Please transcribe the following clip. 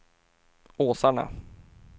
Åsarna